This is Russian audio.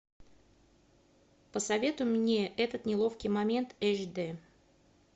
посоветуй мне этот неловкий момент эйч дэ